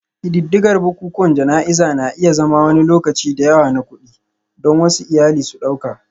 Ƙididdigar bukukuwan jana'izar na iya zama wani lokaci da yawa na kuɗi, don wasu iyali su ɗauka